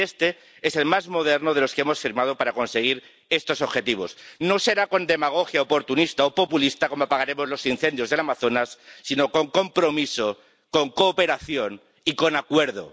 Y este es el más moderno de los que hemos firmado para conseguir estos objetivos. No será con demagogia oportunista o populista como apagaremos los incendios del Amazonas, sino con compromiso, con cooperación y con acuerdo.